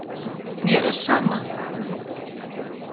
Mér er sama.